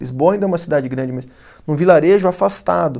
Lisboa ainda é uma cidade grande, mas num vilarejo afastado.